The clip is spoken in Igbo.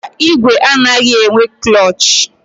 Mba, ìgwè anaghị enwe klọọchị.